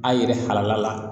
A yɛrɛ halala la